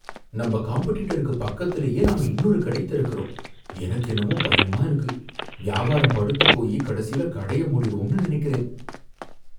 நம்ம காம்பெடிட்டருக்கு பக்கத்துலேயே நாம இன்னொரு கடை திறக்குறோம், எனக்கு என்னமோ பயமா இருக்கு, வியாபாரம் படுத்துப் போயி கடைசில கடைய மூடிருவோம்னு நனைக்கிறேன்.